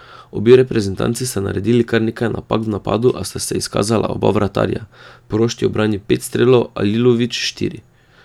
Obe reprezentanci sta naredili kar nekaj napak v napadu, a sta se izkazala oba vratarja, Prošt je ubranil pet strelov, Alilović štiri.